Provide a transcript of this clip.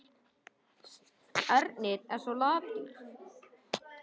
Stoppar hún aldrei?